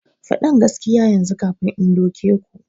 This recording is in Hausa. Fadin gaskiya yanzu kafin in doke ku!